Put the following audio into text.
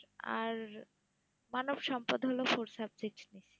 আর মানবসম্পদ হল fourth subject নিয়ে